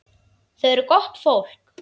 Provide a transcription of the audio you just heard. Þau eru gott fólk.